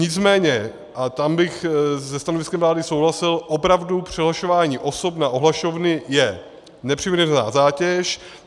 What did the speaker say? Nicméně, a tam bych se stanoviskem vlády souhlasil, opravdu přihlašování osob na ohlašovny je nepřiměřená zátěž.